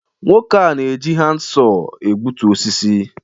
nwoke a na-eji handsaw na-egbutu osisi